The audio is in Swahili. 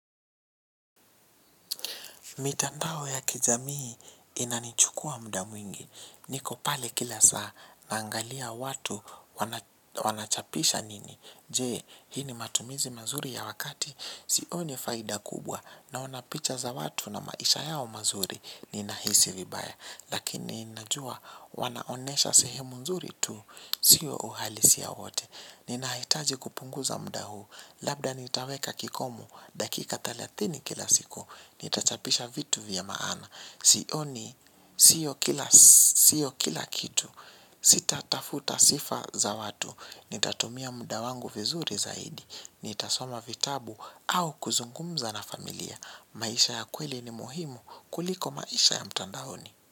Mitandao ya kijamii, inanichukua muda mwingi. Niko pale kila saa. Naangalia watu wanachapisha nini. Je, hii ni matumizi mazuri ya wakati? Sioni faida kubwa. Naona picha za watu na maisha yao mazuri. Ninahisi vibaya. Lakini, nnajua wanaonesha sehemu nzuri tu. Sio uhalisia wote. Ninahitaji kupunguza mda huu. Labda nitaweka kikomo dakika thelathini, kila siku. N itachapisha vitu vya maana, sioni sio kila sio kila kitu. Sita tafuta sifa za watu. Nitatumia mda wangu vizuri zaidi, nitasoma vitabu, au kuzungumza na familia. Maisha ya kweli ni muhimu, kuliko maisha ya mtandaoni.